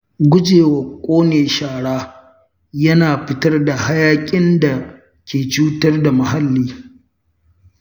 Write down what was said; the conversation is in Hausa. Gujewa ƙone shara yana hana fitar hayaƙin da ke cutar da muhalli.